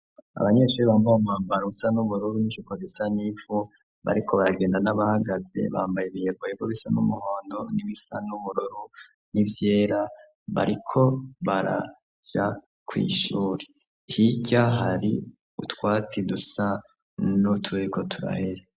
Abanyeshuri bambaye umwambaro usa n'ubururu n'ijipo bisa nivu bariko baragenda n'abahagaze bambaye ibiyeboyebo bisa n'umuhondo n'ibisa n'ubururu n'ivyera bariko baraja kwishuri hirya hari utwatsi dusa n'uturiko turahere.